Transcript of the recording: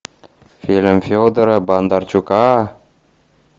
фильм федора бондарчука